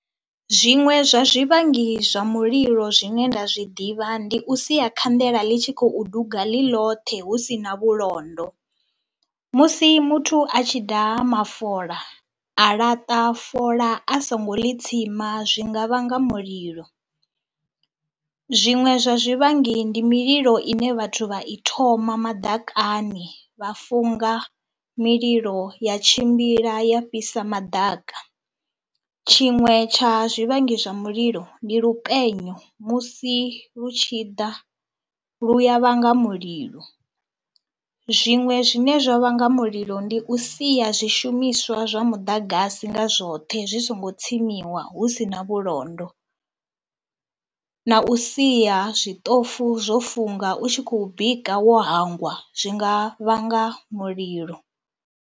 Zwiṅwe zwa zwivhangi zwa mulilo zwine nda zwi ḓivha ndi u sia khanḓele ḽi tshi khou duga ḽi ḽothe hu si na vhulondo, musi muthu a tshi daha mafola a laṱa fola a songo ḽi tsima zwi nga vhanga mulilo. Zwiṅwe zwa zwivhangi ndi mililo ine vhathu vha i thoma maḓakani, vha funga mililo ya tshimbila ya fhisa madaka. Tshiṅwe tsha zwivhangi zwa mililo ndi lupenyo, musi lu tshi ḓa lu ya vhanga mulilo, zwiṅwe zwine zwa vhanga mulilo ndi u sia zwishumiswa zwa muḓagasi nga zwoṱhe zwi songo tsimisiwa hu si na vhulondo na u sia zwiṱofu zwo funga u tshi khou bika wo hangwa zwi nga vhanga mulilo.